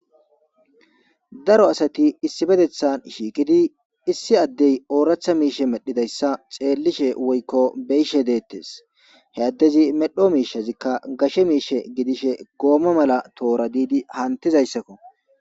Daro asati issi bedethan shiikidi issi addey ooratha miishe medhidayssa xeellishe woykko beyishe deettes he addezi medho miishazikka gashe miishe gidishe goomma mala toora diidi hantizayssakko.